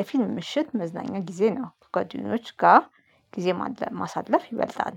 የፊልም ምሽት መዝናኛ ጊዜ ነው። ጓደኞች ጋር ጊዜ ማሳለፍ ይበልጣል።